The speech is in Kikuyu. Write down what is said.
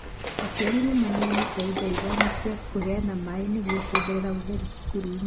Aciari nĩ maneanĩte indo ithano cia kũheana maaĩ nĩguo kuongerera ũtherũ cukuru-inĩ.